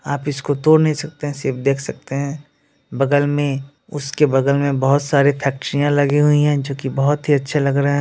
आप इसको तोड़ नहीं सकते है सिर्फ देख सकते है बगल में उसके बगल में बहुत सारे फैक्ट्रीयां लगी हुई है जो कि बहुत ही अच्छे लग रहे --